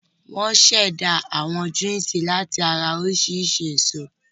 Wọ́n ṣẹ̀dá àwọn júúsì láti ara oríṣiríṣi èso.